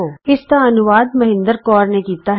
ਇਸ ਸਕਰਿਪਟ ਦਾ ਅਨੁਵਾਦ ਮਹਿੰਦਰ ਕੌਰ ਰਿਸ਼ਮ ਨੇ ਕੀਤਾ ਹੈ